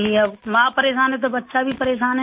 اب ماں پریشان ہے تو بچہ بھی پریشان ہے